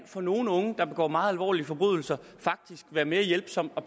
for nogle unge der begår meget alvorlige forbrydelser kan være hjælpsomt at